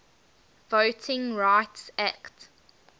voting rights act